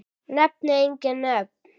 Nefni engin nöfn.